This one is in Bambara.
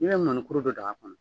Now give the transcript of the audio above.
n'u ye mɔnikuru don daga kɔnɔ.